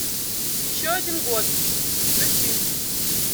еще один год включи